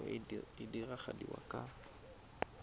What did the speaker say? kopo e e diragadiwa ka